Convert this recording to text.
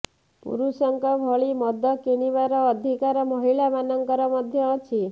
ପୁରୁଷଙ୍କ ଭଳି ମଦ କିଣିବାର ଅଧିକାର ମହିଳାମାନଙ୍କର ମଧ୍ୟ ଅଛି